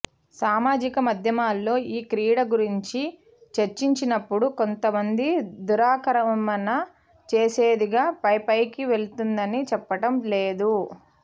సామాజిక మాధ్యమాల్లో ఈ క్రీడ గురించి చర్చించినప్పుడు కొంతమంది దురాక్రమణ చేసేదిగా పై పైకి వెళుతుందని చెప్పటం లేదు